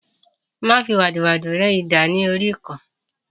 Má fi wàdùwàdù ré idà ní oríkọ̀ọ́